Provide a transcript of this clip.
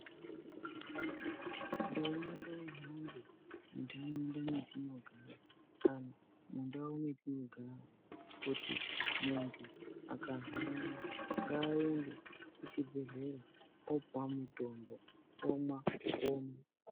Nduma ngaihambe mundaraunda metinogara kana mundau metinogara kuti kana muntu akarwara ngayende kuchibhedhlera opuwa mutombo omwa opona.